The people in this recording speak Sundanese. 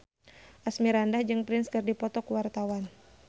Asmirandah jeung Prince keur dipoto ku wartawan